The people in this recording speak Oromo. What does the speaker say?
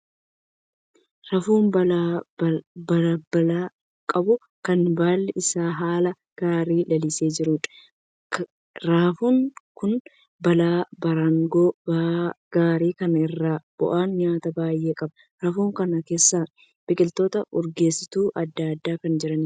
Raafuu baala babal'aa qabu kan baalli isaa haala gaarii lalisee jiruudha. Raafuun kun baala baraangoo gaarii kan irraa bu'anii nyaatan baay'ee qaba. Raafuu kana keessa biqiloota urgeessituu adda addaa kan jiraniidha.